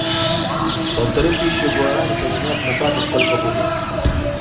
полторы тысячи гуарани поменять на баты сколько будет